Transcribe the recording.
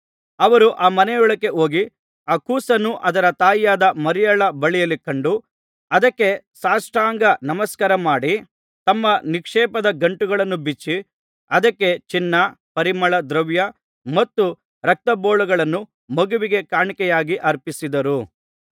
ಅವರು ಆ ಮನೆಯೊಳಕ್ಕೆ ಹೋಗಿ ಆ ಕೂಸನ್ನು ಅದರ ತಾಯಿಯಾದ ಮರಿಯಳ ಬಳಿಯಲ್ಲಿ ಕಂಡು ಅದಕ್ಕೆ ಸಾಷ್ಟಾಂಗನಮಸ್ಕಾರ ಮಾಡಿ ತಮ್ಮ ನಿಕ್ಷೇಪದ ಗಂಟುಗಳನ್ನು ಬಿಚ್ಚಿ ಅದಕ್ಕೆ ಚಿನ್ನ ಪರಿಮಳದ್ರವ್ಯ ಮತ್ತು ರಕ್ತಬೋಳಗಳನ್ನು ಮಗುವಿಗೆ ಕಾಣಿಕೆಯಾಗಿ ಅರ್ಪಿಸಿದರು